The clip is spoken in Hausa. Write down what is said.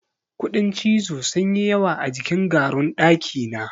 Kuɗin cizo sun yi yawa a jikin garun ɗakina.